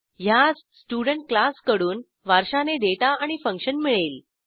ह्यास student क्लासकडून वारशाने data आणि फंक्शन मिळेल